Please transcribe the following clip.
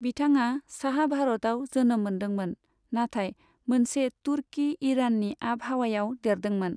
बिथाङा साहा भारतआव जोनोम मोन्दोंमोन, नाथाय मोनसे तुर्की ईराननि आबहावायाव देरदोंमोन।